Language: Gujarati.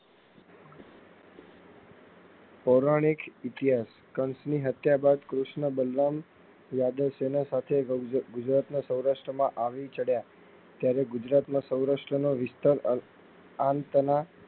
ધોરણ એક ઇતિહાસ કંસ ની હત્યા બાદ કૃષ્ણ બલરામ યાદવ સેના સાથે ગુજરાત માં સૌરાસ્ટ્ર માં આવી ચડયા ત્યારે ગુજરાત ના સૌરાસ્ટ્ર ના વિસ્તાર આ વિસ્તાર ના